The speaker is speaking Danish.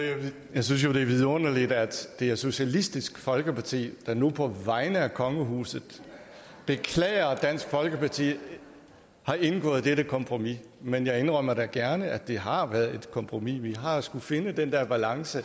jeg synes jo det er vidunderligt at det er socialistisk folkeparti der nu på vegne af kongehuset beklager at dansk folkeparti har indgået dette kompromis men jeg indrømmer da gerne at det har været et kompromis vi har skullet finde den der balance